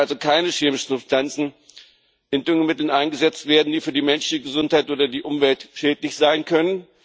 Es dürfen also keine chemischen Substanzen in Düngemitteln eingesetzt werden, die für die menschliche Gesundheit oder die Umwelt schädlich sein können.